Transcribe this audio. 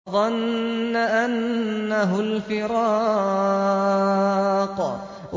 وَظَنَّ أَنَّهُ الْفِرَاقُ